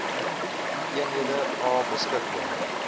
eenhede a beskikbaar